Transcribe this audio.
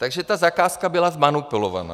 Takže ta zakázka byla zmanipulována.